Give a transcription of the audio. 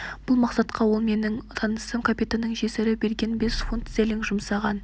бұл мақсатқа ол менің танысым капитанның жесірі берген бес фунт стерлинг жұмсаған